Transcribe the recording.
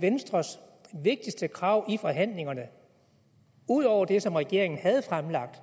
venstres vigtigste krav i forhandlingerne ud over det som regeringen havde fremlagt